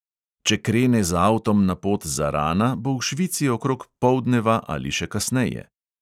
Če krene z avtom na pot zarana, bo v švici okrog poldneva ali še kasneje.